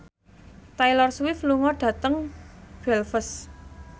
Taylor Swift lunga dhateng Belfast